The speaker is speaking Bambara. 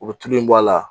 U bɛ tulu in bɔ a la